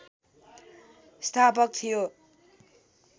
स्थापक थियो